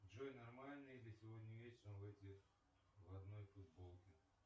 джой нормально ли сегодня вечером выйти в одной футболке